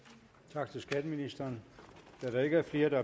tak til skatteministeren da der ikke er flere der